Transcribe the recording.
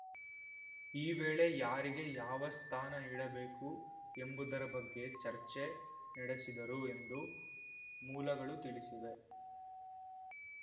ಈ ವೇಳೆ ಯಾರಿಗೆ ಯಾವ ಸ್ಥಾನ ನೀಡಬೇಕು ಎಂಬುದರ ಬಗ್ಗೆ ಚರ್ಚೆ ನಡೆಸಿದರು ಎಂದು ಮೂಲಗಳು ತಿಳಿಸಿವೆ